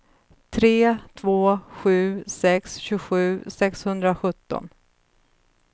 tre två sju sex tjugosju sexhundrasjutton